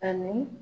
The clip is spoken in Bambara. Ani